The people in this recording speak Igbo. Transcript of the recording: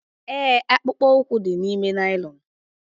Ee, akpụkpọ ụkwụ dị n'ime naịlọn.